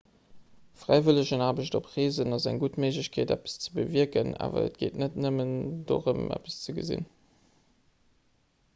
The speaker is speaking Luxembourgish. fräiwëllegenaarbecht op reesen ass eng gutt méiglechkeet eppes ze bewierken awer et geet net nëmmen dorëm eppes ze ginn